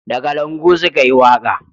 Da kalangu su ka yi waka